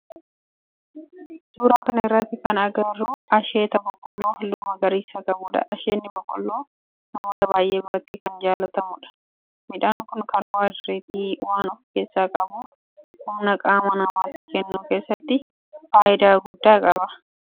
Suuraa kana irratti kan agarru asheeta boqqoolloo halluu magariisa qabudha. Asheenni boqqoolloo namoota baayyee biratti kan jaalatamudha. Midhaan kun kaarboohayidireetii waan of keessaa qabuuf humna qaama namaatii kennuu keessatti faayidaa guddaa qaba.